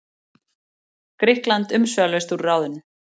Grikkland umsvifalaust úr ráðinu.